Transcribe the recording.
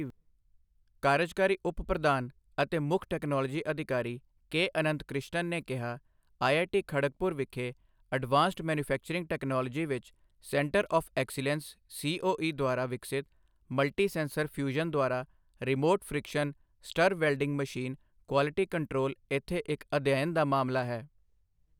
ਕਾਰਜਕਾਰੀ ਉਪ ਪ੍ਰਧਾਨ ਅਤੇ ਮੁੱਖ ਟੈਕਨੋਲੋਜੀ ਅਧਿਕਾਰੀ ਕੇ ਅਨੰਤ ਕ੍ਰਿਸ਼ਨਨ ਨੇ ਕਿਹਾ, ਆਈਆਈਟੀ ਖੜਗਪੁਰ ਵਿਖੇ ਅਡਵਾਂਸਡ ਮੈਨੂੰਫੈਕਚਰਿੰਗ ਟੈਕਨਾਲੋਜੀ ਵਿੱਚ ਸੈਂਟਰ ਆਫ਼ ਐਕਸੀਲੈਂਸ ਸੀਓਈ ਦੁਆਰਾ ਵਿਕਸਿਤ ਮਲਟੀ ਸੈਂਸਰ ਫਿਊਜ਼ਨ ਦੁਆਰਾ remote friction stir welding machine quality control ਇੱਥੇ ਇੱਕ ਅਧਿਅਨ ਦਾ ਮਾਮਲਾ ਹੈ।